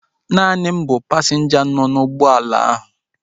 Naani m bụ pasinja nọ n'ụgbọala bọọsu ahu